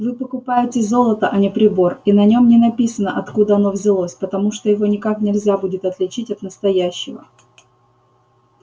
вы покупаете золото а не прибор и на нем не написано откуда оно взялось потому что его никак нельзя будет отличить от настоящего